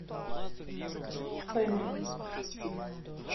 фэмили